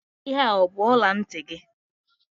Ihe a ọ bụ ọla ntị gị?